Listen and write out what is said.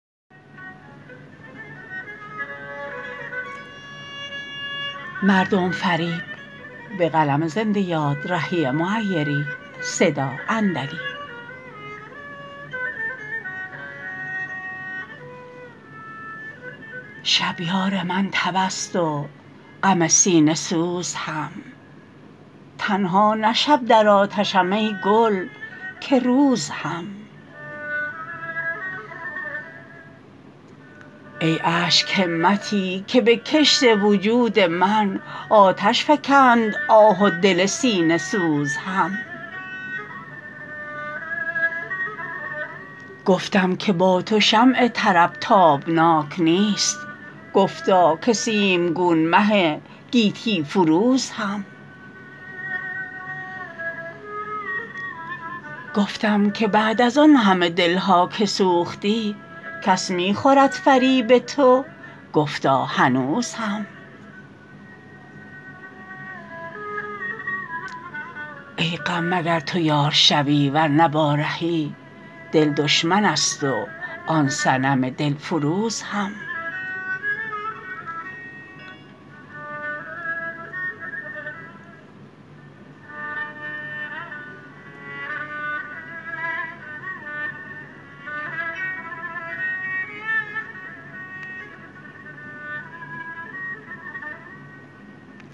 شب یار من تب است و غم سینه سوز هم تنها نه شب در آتشم ای گل که روز هم ای اشک همتی که به کشت وجود من آتش فکند آه و دل سینه سوز هم گفتم که با تو شمع طرب تابناک نیست گفتا که سیمگون مه گیتی فروز هم گفتم که بعد از آن همه دل ها که سوختی کس می خورد فریب تو گفتا هنوز هم ای غم مگر تو یار شوی ورنه با رهی دل دشمن است و آن صنم دل فروز هم